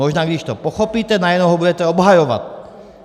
Možná když to pochopíte, najednou ho budete obhajovat.